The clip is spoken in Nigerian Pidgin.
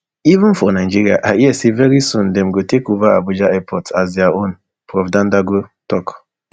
even for nigeria i hear say very soon dem go take ova abuja airport as dia own prof dandago tok